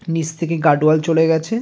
নিচ থেকে guard wall চলে গেছে।